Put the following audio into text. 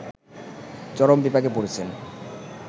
চরম বিপাকে পড়েছেন